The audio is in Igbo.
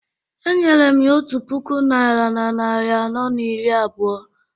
Enyere m ya otu puku naira na narị anọ na iri abụọ